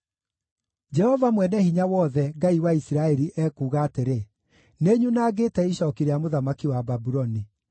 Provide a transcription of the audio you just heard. “Jehova Mwene-Hinya-Wothe, Ngai wa Isiraeli, ekuuga atĩrĩ: ‘Nĩnyunangĩte icooki rĩa mũthamaki wa Babuloni.